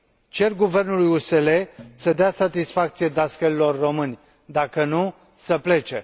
Cer guvernului USL să dea satisfacție dascălilor români, dacă nu, să plece.